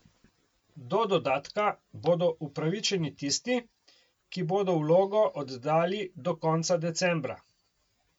Do dodatka bodo upravičeni tisti, ki bodo vlogo oddali do konca decembra.